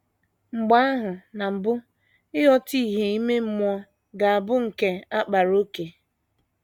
Mgbe ahụ, na mbụ, ịghọta ìhè ime mmụọ ga - abụ nke a kpaara ókè.